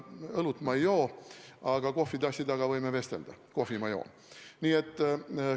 Õlut ma ei joo, aga kohvitassi taga võime vestelda küll, sest kohvi ma joon.